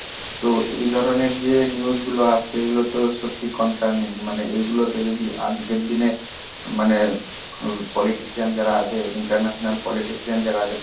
তো এই ধরনের যে news গুলো আসছে, এগুলোতো সত্যি concerning. মানে এইগুলোতে যদি আজকের দিনে মানে politician যারা আছে international politician যারা আছে